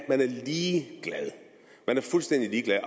ligeglad man er fuldstændig ligeglad